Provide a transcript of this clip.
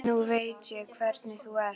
Nú veit ég hvernig þú ert!